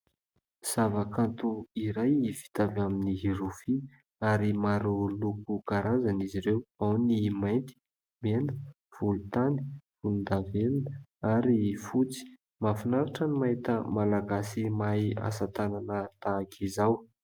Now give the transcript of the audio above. Zava-kanto iray vita avy amin'ny rofia ary maro loko karazany izy ireo. Ao ny mainty, mena, volontany, volondavenona ary fotsy. Mahafinaritra ny mahita Malagasy mahay asa tanana tahaka izao.